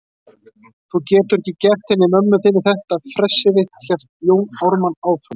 Þú getur ekki gert henni mömmu þinni þetta fressið þitt, hélt Jón Ármann áfram.